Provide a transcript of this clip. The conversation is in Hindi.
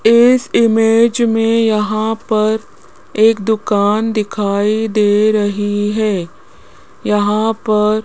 इस इमेज में यहां पर एक दुकान दिखाई दे रही है यहां पर --